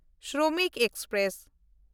Shramik express